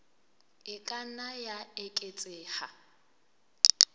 e ka nna ya eketseha